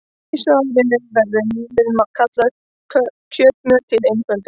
Í svarinu verður mjölið kallað kjötmjöl til einföldunar.